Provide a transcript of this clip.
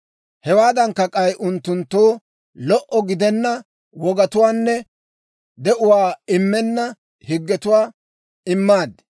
Hewaadankka, k'ay unttunttoo lo"o gidenna wogatuwaanne de'uwaa immenna higgetuwaa immaad.